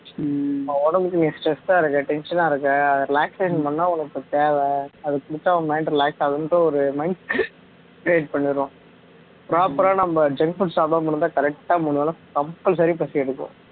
உடம்புக்கு நீ stress ஆ இருக்க tension ஆ இருக்க relaxation பண்ண உனக்கு தேவை அது குடிச்சா உன் mind relax ஆகும்ன்னுட்டு ஒரு mind create பண்ணிடுறோம் proper ஆ நம்ம junk food சாப்பிடாம இருந்தா correct ஆ மூணு வேளை compulsory பசி எடுக்கும்